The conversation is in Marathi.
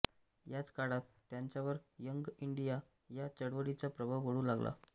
याच काळात त्यांच्यावर यंग इंडिया या चळवळीचा प्रभाव पडू लागला